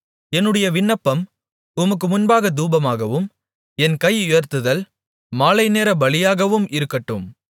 என்னுடைய விண்ணப்பம் உமக்கு முன்பாகத் தூபமாகவும் என் கையுயர்த்துதல் மாலைநேரப் பலியாகவும் இருக்கட்டும்